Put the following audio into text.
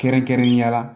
Kɛrɛnkɛrɛnnenya la